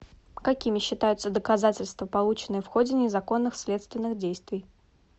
какими считаются доказательства полученные в ходе незаконных следственных действий